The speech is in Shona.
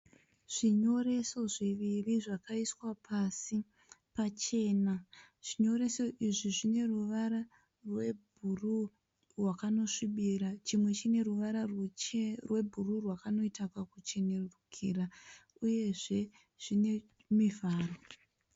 zvinyoreso zviviri zvakaiswa pasi pachena. Zvinyoreso izvi zvine ruvara rwebhuruu rwakanosvibira. Chimwe chine ruvara rwebhuruu rwakanoita kakuchenerukira uyezve zvine mivharo.